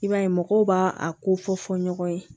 I b'a ye mɔgɔw b'a a ko fɔ ɲɔgɔn ye